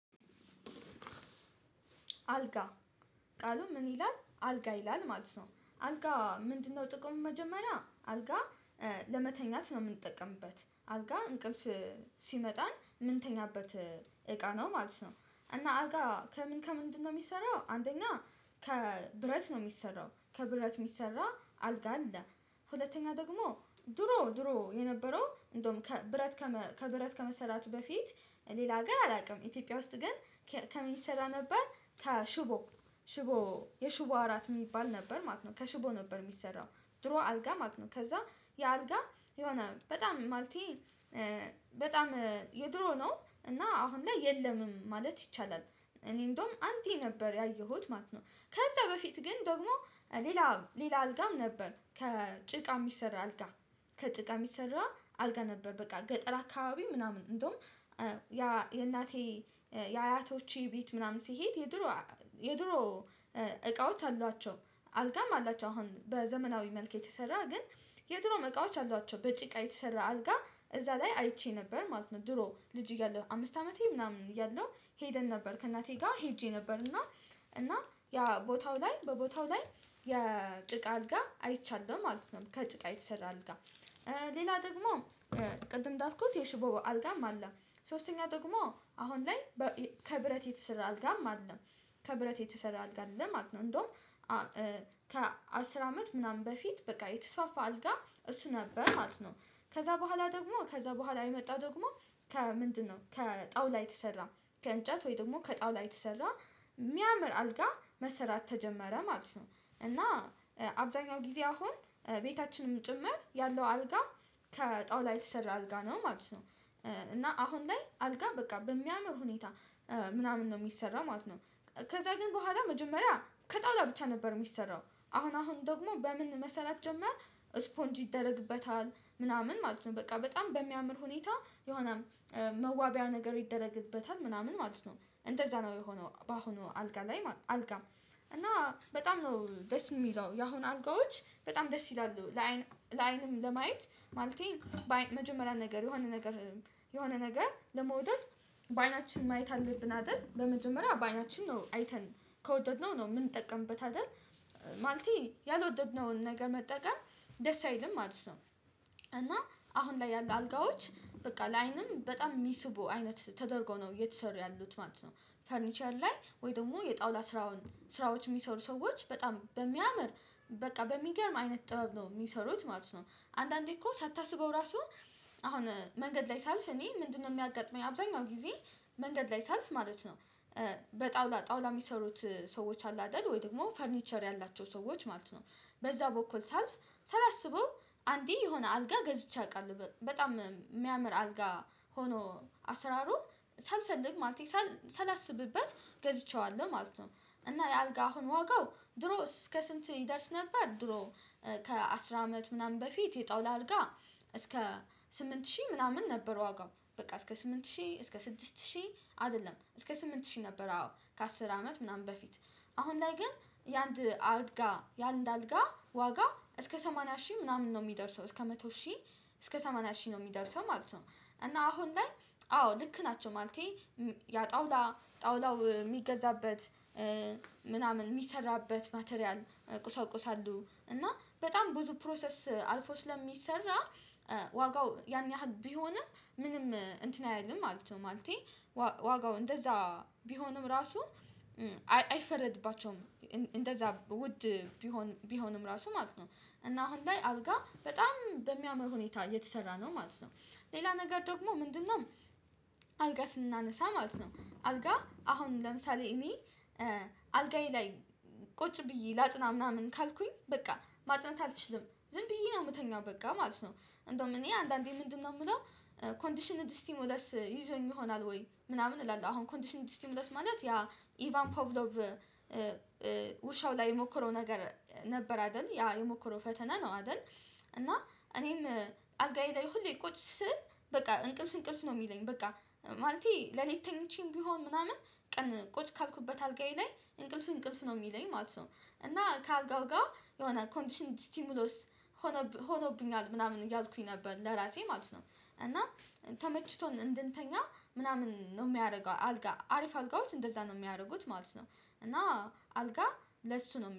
አልጋ ቃሉ ምን ይላል አልጋ ይላል ማለት ነው አልጋ ምንድነው? ጥቅሙ መጀመሪያ አልጋ ለመተኛት ነው የምንጠቀምበት አልጋ እንቅልፍ። ሲመጣን ምን ተኛበት እቃ ነው ማለት ነው። እና አልጋ ከምን ከምንድነው የሚሰራው? አንደኛ ከብረት ነው የሚሰራው ከብረት የሚሰራ አልጋ አለ። ሁለተኛ ደግሞ ድሮ ድሮ የነበረው እንደውም ከብረት ከብረት ከመሰራቱ በፊት ሌላ ሀገር አላውቅም ኢትዮጵያ ውስጥ ግን ከመንሰራ ነበር። ከሽቦ ሽቦ የሽቦ አራት የሚባል ነበር ማለት ነው ከሽቦ ነበር የሚሰራው። ድሮ አልጋ ማለት ነው ከዛ የአልጋ የሆነ በጣም ማለቴ በጣም የድሮ ነው እና አሁን ላይ የለምም ማለት ይቻላል። እኔ እንደውም አንተ ነበር ያየሁት ማለት ነው። ከዛ በፊት ግን ደግሞ ሌላ ሌላ አልጋም ነበር ከጭቃ የሚሰራ አልጋ። ከጭቃ የሚሰራ አልጋ ነበር በቃ ገጠር አካባቢ ምናምን እንደውም ያ የእናቴ የአያቶቼ ቤት ምናምን ሲሄድ የድሮ የድሮ እቃዎች አሏቸው። አልጋም አላቸው አሁን በዘመናዊ መልክ የተሰራ ግን የድሮ እቃዎች አሏቸው በጭቃ የተሰራ አልጋ እዛ ላይ አይቼ ነበር ማለት ነው። ድሮ ልጅ እያለሁ አምስት አመቴ ምናምን እያለሁ ሄደን ነበር ከእናቴ ጋር ሄጄ ነበር እና። እና ያ ቦታው ላይ በቦታው ላይ የጭቃ አልጋ አይቻለሁ ማለት ነው ከጭቃ የተሰራ አልጋ። ሌላ ደግሞ ቅድም እዳልኩት የሽቦ አልጋም አለ። ሶስተኛ ደግሞ አሁን ላይ ከብረት የተሰራ አልጋም አለም። ከብረት የተሰራ አልጋ ማለት ነው እንደውም ከአስር አመት ምናምን በፊት በቃ የተስፋፋ አልጋ እሱ ነበር ማለት ነው። ከዛ በኋላ ደግሞ ከዛ በኋላ የመጣ ደግሞ ከምንድነው ከጣውላ የተሰራ ከእንጨት ወይ ደግሞ ከጣውላ የተሰራ የሚያምር አልጋ መስራት ተጀመረ ማለት ነው። እና አብዛኛው ጊዜ አሁን ቤታችንም ጭምር ያለው አልጋ ከጣውላ የተሰራ አልጋ ነው ማለት ነው። እና አሁን ላይ አልጋ በቃ በሚያምር ሁኔታ ምናምን ነው የሚሰራ ማለት ነው። ከዛ ግን በኋላ መጀመሪያ ከጠውላ ብቻ ነበር የሚሰራው አሁን አሁን ደግሞ በምን መሰራት ጀመር። ስፖንጅ ይደረግበታል ምናምን ማለት ነው በቃ በጣም በሚያምር ሁኔታ የሆነም መዋቢያ ነገር ይደረግበታል ምናምን ማለት ነው። እንደዛ ነው የሆነው በአሁኑ አልጋ ላይ አልጋም። እና በጣም ነው ደስ የሚለው የአሁኑ አልጋዎች በጣም ደስ ይላሉ ለአይን ለአይንም ለማየት። ማለቴ መጀመሪያ ነገር የሆነ ነገር የሆነ ነገር ለመውደድ በአይናችን ማየት አለብን አይደል በመጀመሪያ በአይናችን ነው አይተን ከወደድነው ነው የምንጠቀምበት አይደል። ማለቴ ያልወደድነውን ነገር መጠቀም ደስ አይልም ማለት ነው። እና አሁን ላይ ያለ አልጋዎች በቃ ለአይንም በጣም ሚስቡ አይነት ተደርጎ ነው እየተሰሩ ያሉት ማለት ነው። ፈርኒቸር ላይ ወይ ደግሞ የጣውላ ስራውን ስራዎች የሚሰሩ ሰዎች በጣም በሚያምር በቃ በሚገርም አይነት ጥበብ ነው የሚሰሩት ማለት ነው። አንዳንዴ እኮ ሳታስበው ራሱ አሁን መንገድ ላይ ሳልፍ እኔ ምንድነው? የሚያጋጥመኝ አብዛኛው ጊዜ መንገድ ላይ ሳልፍ ማለት ነው። በጣውላ ጣውላ የሚሰሩት ሰዎች አሉ አይደል ወይ ደግሞ ፈርኒቸር ያላቸው ሰዎች ማለት ነው። በዛ በኩል ሰልፍ ሳላስበው አንዴ የሆነ አልጋ ገዝቼ አውቃለሁ በጣም የሚያምር አልጋ ሆኖ አሰራሩ ሳልፈልግ ማለት ሳላስብበት ገዝቼዋለሁ ማለት ነው። እና የአልጋ አሁን ዋጋው ድሮ እስከ ስንት? ይደርስ ነበር ድሮ ከአስር አመት ምናምን በፊት የጣውላ አልጋ እስከ ስምንት ሺህ ምናምን ነበር ዋጋው በቃ እስከ ስምንት ሺህ እስከ ስድስት ሺህ አይደለም እስከ ስምንት ሺህ ነበር አዎ ከአስር አመት ምናምን በፊት። አሁን ላይ ግን የአንድ አልጋ የአንድ አልጋ ዋጋ እስከ ሰማንያ ሺህ ምናምን ነው የሚደርሰው እስከ መቶ ሺህ። እስከ ሰማንያ ሺህ ነው የሚደርሰው ማለት ነው። እና አሁን ላይ አዎ ልክ ናቸው ማለቴ። ያ ጠውላ ጠውላው የሚገዛበት ምናምን የሚሰራበት ማቴሪያል። ቁሳቁስ አሉ እና በጣም ብዙ ፕሮሰስ አልፎ ስለሚሰራ ዋጋው ያን ያህል ቢሆንም ምንም እንትን አይደለም ማለት ነው። ማለቴ ዋጋው እንደዛ ቢሆንም ራሱ አይፈረድባቸውም። እንደዛ ውድ ቢሆንም ራሱ ማለት ነው። እና አሁን ላይ አግጋ በጣም በሚያምር ሁኔታ የተሰራ ነው ማለት ነው። ሌላ ነገር ደግሞ ምንድነው? አልጋ ስናነሳ ማለት ነው። አልጋ አሁን ለምሳሌ እኔ አልጋዬ ላይ ቁጭ ብዬ ላጥና ምናምን ካልኩኝ በቃ ማጥናት አልችልም ዝም ብዬ ነው የምተኛው በቃ ማለት ነው። እንደውም እኔ አንዳንዴ ምንድነው? የምለው ኮንዲሽን ዲስቲሙላስ ይዞኝ ይሆናል ወይ ምናምን እላለሁ አሁን ኮንዲሽን ዲስቲሙላስ ማለት ያ ኢቫን ፖቭሎቭ። ውሻው ላይ የሞከረው ነገር ነበር አይደል ያ የሞከረው ፈተና ነው አይደል? እና እኔም አልጋዬ ላይ ሁሌ ቁጭ ስል በቃ እንቅልፍ እንቅልፍ ነው የሚለኝ በቃ ማለቴ ሌሊት ተኝቼም ቢሆን ምናምን ቀን ቁጭ ካልኩበት አልጋዬ ላይ እንቅልፍ እንቅልፍ ነው የሚለኝ ማለት ነው። እና ከአልጋው ጋር የሆነ ኮንዲሽን ቲምሎስ ሆኖ ሆኖብኛል ምናምን እያልኩኝ ነበር ለራሴ ማለት ነው እና። ተመችቶን እንድንተኛ ምናምን ነው የሚያደርገው አልጋ አሪፍ አልጋዎች እንደዛ ነው የሚያደርጉት ማለት ነው። እና አልጋ ለሱ ነው